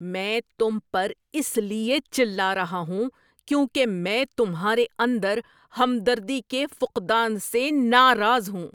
میں تم پر اس لیے چلا رہا ہوں کیونکہ میں تمہارے اندر ہمدردی کے فقدان سے ناراض ہوں۔